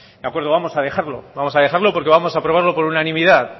de acuerdo vamos a dejarlo vamos a dejarlo porque vamos a aprobarlo por unanimidad